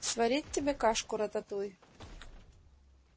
сварить тебе кашку-рататуй